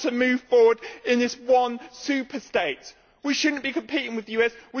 You want to move forward in this one superstate. We should not be competing with the USA.